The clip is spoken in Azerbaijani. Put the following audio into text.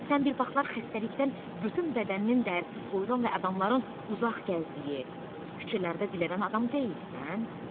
Sən bir vaxtlar xəstəlikdən bütün bədəninin dərisi soyulan və adamların uzaq gəzdiyi, küçələrdə dilənən adam deyilsən?